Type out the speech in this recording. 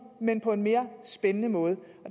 men på en mere spændende måde og